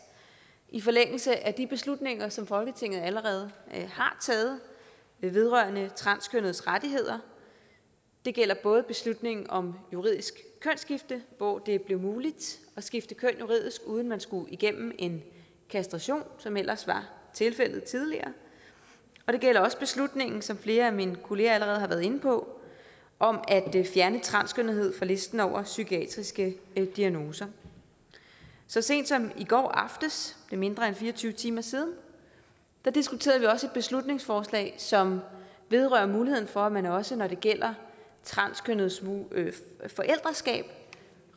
i forlængelse af de beslutninger som folketinget allerede har taget vedrørende transkønnedes rettigheder det gælder både beslutningen om juridisk kønsskifte hvor det er blevet muligt at skifte køn juridisk uden at man skulle igennem en kastration som det ellers var tilfældet tidligere og det gælder også beslutningen som flere af mine kollegaer allerede har været inde på om at fjerne transkønnethed fra listen over psykiatriske diagnoser så sent som i går aftes det er mindre end fire og tyve timer siden diskuterede vi også et beslutningsforslag som vedrører muligheden for at man også når det gælder transkønnedes forældreskab